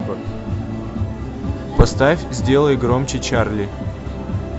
поставь сделай громче чарли